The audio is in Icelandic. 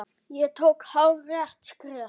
Ég tók hárrétt skref.